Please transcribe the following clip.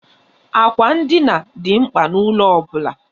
Àkwà ndina dị mkpa n'ụlọ ọ bụla.